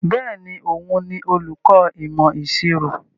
Bẹ́ẹ̀ni, òun ni olùkọ ìmọ̀ ìṣirò.